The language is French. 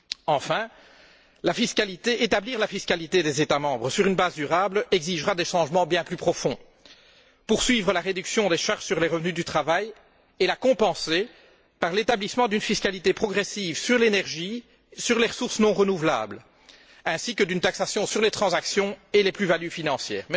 Enfin, établir la fiscalité des États membres sur une base durable exigera des changements bien plus profonds poursuivre la réduction des charges sur les revenus du travail et la compenser par l'établissement d'une fiscalité progressive sur l'énergie sur les ressources non renouvelables et d'une fiscalité sur les transactions et les plus values financières.